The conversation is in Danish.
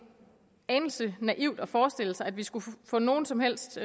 anelse naivt at forestille sig at vi skulle få nogen som helst